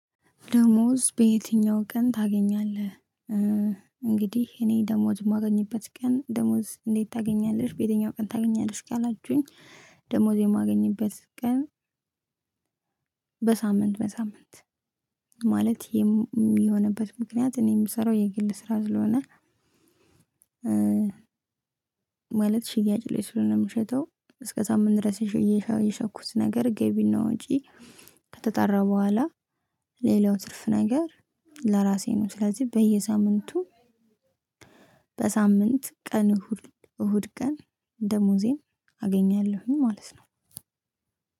ደሞዝ በየትኛው ቀን ታገኛለህ? እንግዲህ እኔ ደሞዝ የማገኝበት ቀን ደሞዝ ታገኛለሽ በየትኛው ቀን ታገኛለሽ እስኪ አላችሁኝ። ደሞዝ የማገኝበት ቀን። በሳምንት በሳምንት ማለት የሚሆንበት ምክንያት እኔ ምሰራው የግል ስራ ስለሆነ። ማለት ሽያጭ ላይ ስለሆነ ምሸጠው እስከሳምንት ድረስ የሸኩት ነገር ገቢና ወጪ ከተጠራ በኋላ ሌላው ትርፍ ነገር ለራሴ ነው። ስለዚህ በየሳምንቱ በሳምንት ቀን እሁድ ቀን ደሞዜን አገኛለሁኝ ማለት ነው።